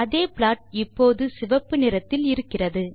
அதே ப்ளாட் இப்போது சிவப்பு நிறத்தில் இருக்கிறது